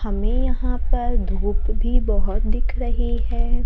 हमें यहां पर धूप भी बहोत दिख रही है।